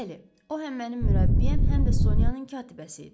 Bəli, o həm mənim mürəbbiyəm, həm də Sonyanın katibəsi idi.